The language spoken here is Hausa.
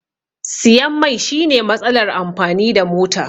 Siyan mai shine matsalar amfani da mota